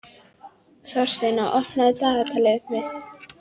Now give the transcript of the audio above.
Þórsteina, opnaðu dagatalið mitt.